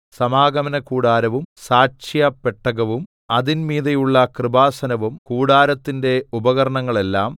സമാഗമനകൂടാരവും സാക്ഷ്യപെട്ടകവും അതിന്മീതെയുള്ള കൃപാസനവും കൂടാരത്തിന്റെ ഉപകരണങ്ങളെല്ലാം